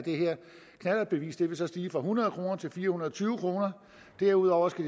knallertbeviset vil stige fra hundrede kroner til fire hundrede og tyve kroner derudover skal